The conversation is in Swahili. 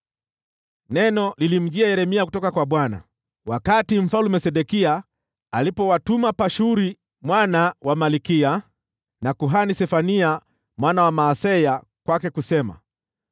Neno lilimjia Yeremia kutoka kwa Bwana wakati Mfalme Sedekia alipowatuma Pashuri mwana wa Malkiya, na kuhani Sefania mwana wa Maaseya kwake, kusema: